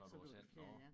Når du har sendt noget